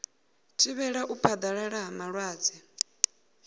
thivhela u phaḓalala ha malwadze